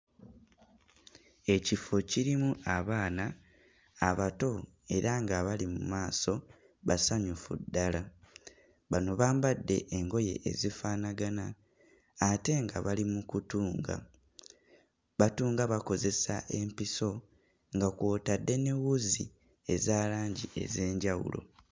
Ekifo kirimu abaana abato era ng'abali mu maaso basanyufu ddala. Bano bambadde engoye ezifaanangana ate nga bali mu kutunga, batunga bakozesa empiso nga kw'otadde ne wuzi eza langi ez'enjawulo.